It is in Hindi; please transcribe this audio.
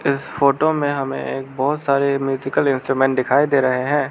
इस फोटो में हमें एक बहुत सारे म्यूजिकल इंस्ट्रूमेंट दिखाई दे रहे हैं।